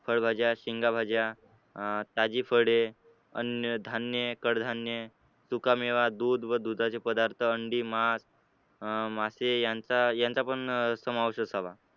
फळभाज्या, शेंगा भाज्या, अं त्याची फळे, अन्नधान्य, कडधान्य, सुकामेवा, दूध व दुधाचे पदार्थ, अंडी, मास अं मास मासे यांचा पण समावेश असावा.